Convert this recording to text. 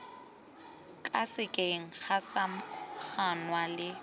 ka sekeng ga samaganwa le